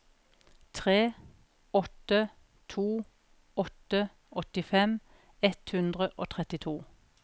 tre åtte to åtte åttifem ett hundre og trettito